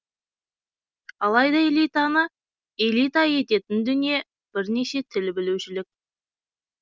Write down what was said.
алайда элитаны элита ететін дүние бірнеше тіл білушілік